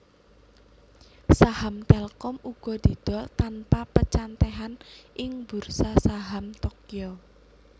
Saham Telkom uga didol tanpa pencathetan ing Bursa Saham Tokyo